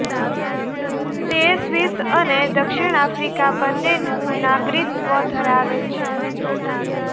તે સ્વિસ અને દક્ષિણ આફ્રિકા બંનેનું નાગરિકત્વ ધરાવે છે